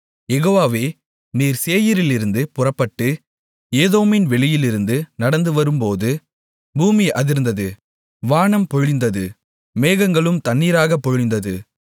யெகோவாவே நீர் சேயீரிலிருந்து புறப்பட்டு ஏதோமின் வெளியிலிருந்து நடந்து வரும்போது பூமி அதிர்ந்தது வானம் பொழிந்தது மேகங்களும் தண்ணீராகப் பொழிந்தது